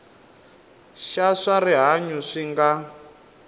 xa swa rihanyu swi nga